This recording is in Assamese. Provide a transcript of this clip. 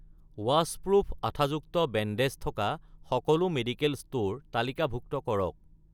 ৱাছপ্ৰুফ আঠাযুক্ত বেণ্ডেজ থকা সকলো মেডিকেল ষ্ট'ৰ তালিকাভুক্ত কৰক